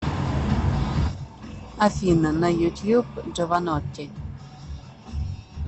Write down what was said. афина на ютьюб джованотти